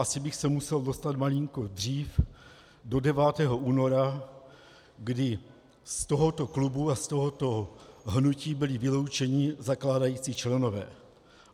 Asi bych se musel dostat daleko dřív, do 9. února, kdy z tohoto klubu a z tohoto hnutí byli vyloučeni zakládající členové.